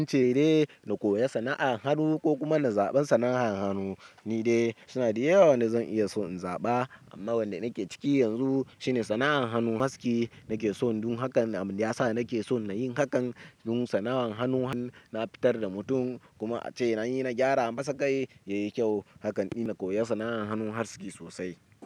Zance dai na koyon sana'ar hannu ko kuma na zaɓan sana'an hannu ni dai. Suna da yawa wanda zan iya so in zaɓa amma wanda nake ciki yanzu shine sana'an hannu aski. Nake son don hakan ya sa nake son na yi hakan. Dun sana'an hannu na fitar da mutum kuma ace nayi na gyara masa kai yayi kyau. Hakan ne na koyar sana'an hannu aski sosai.